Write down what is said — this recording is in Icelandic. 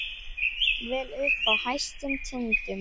Jafnvel uppi á hæstu tindum.